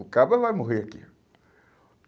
O cabra vai morrer aqui.